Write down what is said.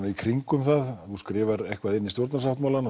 í kringum það þú skrifar eitthvað inn í stjórnarsáttmálann